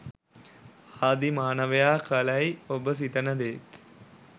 ආදී මානවයා කළැයි ඔබ සිතන දේත්